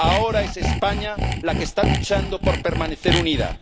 Ahora es España la que está luchando por permanecer unida.